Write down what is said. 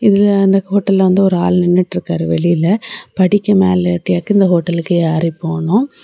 இதுல அந்த ஹோட்டல்ல வந்து ஒரு ஆள் நின்னுட்டு இருக்காரு வெளியில படிக்கு மேல ஏட்டியாக்கு இந்த ஹோட்டலுக்கு யாரி போகணும்.